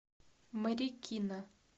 марикина